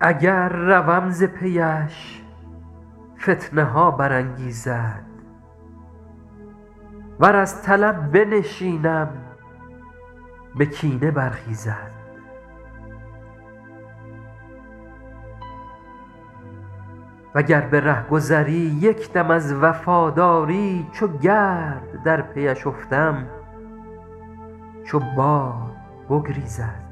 اگر روم ز پی اش فتنه ها برانگیزد ور از طلب بنشینم به کینه برخیزد و گر به رهگذری یک دم از وفاداری چو گرد در پی اش افتم چو باد بگریزد و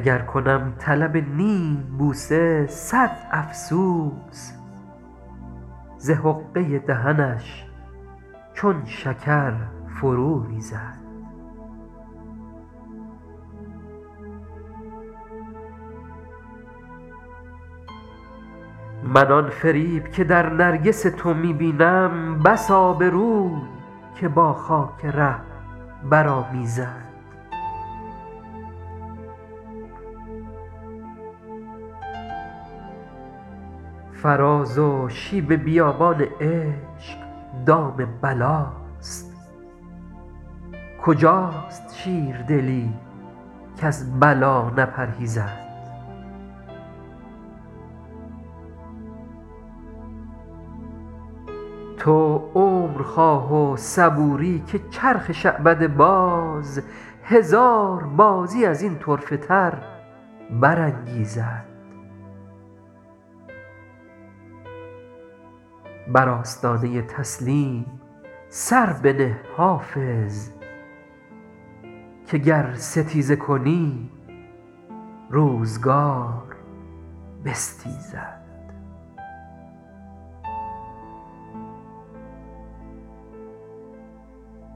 گر کنم طلب نیم بوسه صد افسوس ز حقه دهنش چون شکر فرو ریزد من آن فریب که در نرگس تو می بینم بس آبروی که با خاک ره برآمیزد فراز و شیب بیابان عشق دام بلاست کجاست شیردلی کز بلا نپرهیزد تو عمر خواه و صبوری که چرخ شعبده باز هزار بازی از این طرفه تر برانگیزد بر آستانه تسلیم سر بنه حافظ که گر ستیزه کنی روزگار بستیزد